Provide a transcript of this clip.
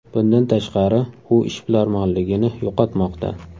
Bundan tashqari, u ishbilarmonligini yo‘qotmoqda.